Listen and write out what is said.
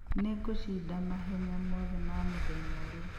Nĩngũcinda mahenya mothe ma mũthenya uria